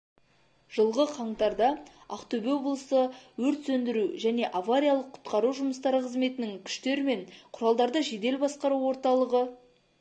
жылғы қаңтарда ақтөбе облысы өрт сөндіру және авариялық-құтқару жұмыстары қызметінің күштер мен құралдарды жедел басқару орталығы